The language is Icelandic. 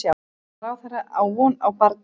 Menntamálaráðherra á von á barni